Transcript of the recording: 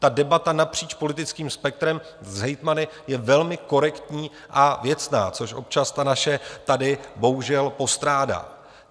Ta debata napříč politickým spektrem s hejtmany je velmi korektní a věcná, což občas ta naše tady bohužel postrádá.